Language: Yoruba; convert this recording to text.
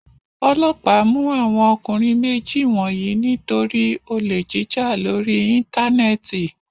Ọlọ́pàá mú àwọn ọkùnrin méjì wọ̀nyí nítorí olè jíjà lórí Íńtánẹ́ẹ̀tì.